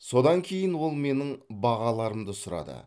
содан кейін ол менің бағаларымды сұрады